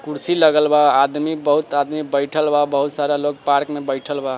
कुर्सी लगल बा आदमी बहुत आदमी बइठल बा बहुत सारा लोग पार्क मे बइठल बा।